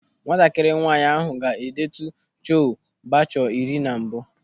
Nwatakịrị nwaanyị ahụ ga-edetu Chole Bhature ire na mbụ.